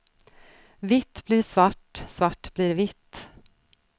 Vitt blir svart, svart blir vitt.